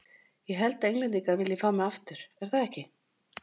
Ég held að Englendingar vilji fá mig aftur, er það ekki?